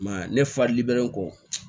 I m'a ye ne fa liberelen kɔ